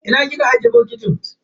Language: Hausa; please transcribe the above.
Ina kika ajiye bokitin?